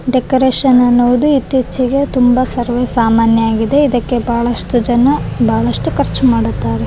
Decoration ಅನ್ನೋದು ಇತ್ತೀಚಿಗೆ ತುಂಬ ಸರ್ವೆ ಸಾಮಾನ್ಯವಾಗಿದೆ ಇದಕ್ಕೆ ಬಹಳಷ್ಟು ಜನ ಬಹಳಷ್ಟು ಖರ್ಚು ಮಾಡುತ್ತಾರೆ .